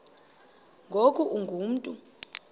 ngoku ungu mntu